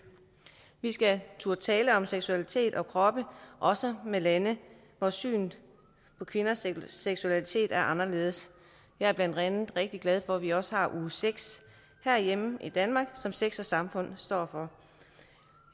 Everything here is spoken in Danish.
skal turde tale om seksualitet og kroppe også med lande hvor synet på kvinders seksualitet er anderledes jeg er blandt andet rigtig glad for at vi også har uge sex herhjemme i danmark som sex samfund står for